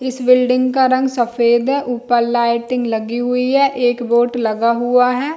इस बिल्डिंग का रंग सफ़ेद है ऊपर लाइटिंग लगी हुई है एक बोर्ड लगा हुआ है।